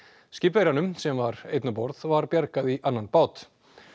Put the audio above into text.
skipverjanum sem var einn um borð var bjargað í annan bát